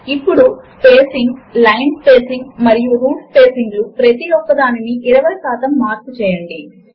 లేదా విండో ను రిఫ్రెష్ చేయడము కొరకు కీబోర్డ్ షార్ట్కట్ ఫ్9 ను వాడండి